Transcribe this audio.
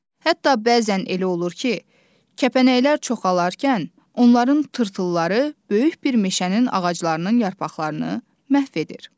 Hətta bəzən elə olur ki, kəpənəklər çoxalarkən onların tırtılları böyük bir meşənin ağaclarının yarpaqlarını məhv edir.